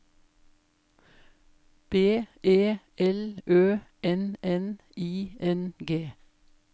B E L Ø N N I N G